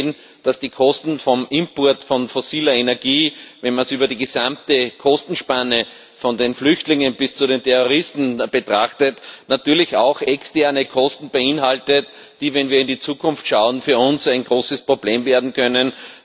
Wir haben gesehen, dass die Kosten des Imports von fossiler Energie, wenn man es über die gesamte Kostenspanne von den Flüchtlingen bis zu den Terroristen betrachtet, natürlich auch externe Kosten beinhaltet, die, wenn wir in die Zukunft schauen, für uns ein großes Problem werden können.